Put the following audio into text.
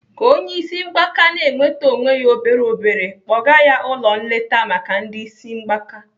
Ka onye isi mgbaka na-enwete onwe ya obere obere kpọga ya ụlọ nleta maka ndị isi mgbaka.